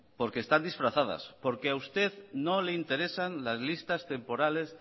porque están disfrazadas porque a usted no le interesan las listas temporales